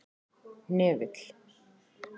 Hnefill